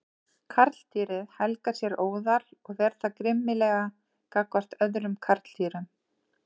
Karldýrið helgar sér óðal og ver það grimmilega gagnvart öðrum karldýrum.